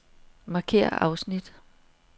Markér afsnit.